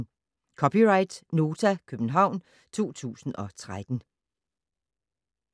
(c) Nota, København 2013